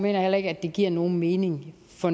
jeg heller ikke at det giver nogen mening for